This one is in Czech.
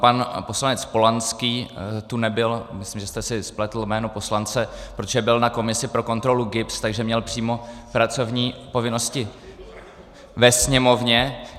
Pan poslanec Polanský tu nebyl - myslím, že jste si spletl jméno poslance - protože byl na komisi pro kontrolu GIBS, takže měl přímo pracovní povinnosti ve Sněmovně.